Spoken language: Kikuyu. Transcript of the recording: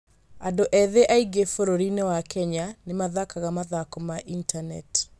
Andũ ethĩ aingĩ bũrũri-inĩ wa Kenya nĩ mathakaga mathako ma intaneti.